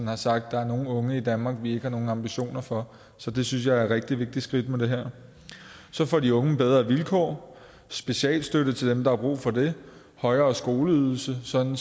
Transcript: har sagt der er nogle unge i danmark vi ikke har nogen ambitioner for så det synes jeg er et rigtig vigtigt skridt i forbindelse med det her så får de unge bedre vilkår specialstøtte til dem der har brug for det højere skoleydelse sådan